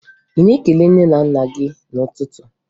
Ị na-ekele nne gị na nna gị n'ụtụtụ?